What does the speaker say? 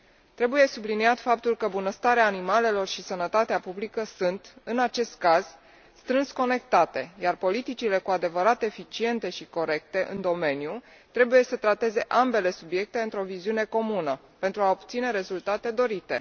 Trebuie subliniat faptul că bunăstarea animalelor și sănătatea publică sunt, în acest caz, strâns conectate, iar politicile cu adevărat eficiente și corecte în domeniu trebuie să trateze ambele subiecte într o viziune comună pentru a obține rezultatele dorite.